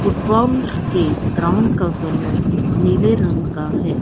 Football के ground का colour नीले रंग का हैं।